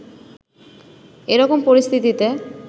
এ রকম পরিস্থিতিতে